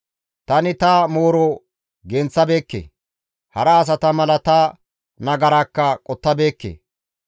Tani ta mooro genththabeekke; hara asata mala ta nagaraakka qottabeekke.